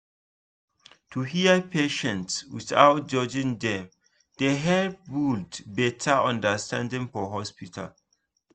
to hear patients without judging dem dey help build better understanding for hospital